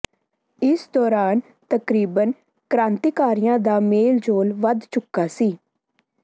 ਇਸ ਦੌਰਾਨ ਤਕਰੀਬਨ ਕ੍ਰਾਂਤੀਕਾਰੀਆਂ ਦਾ ਮੇਲ ਜੋਲ ਵੱਧ ਚੁੱਕਾ ਸੀ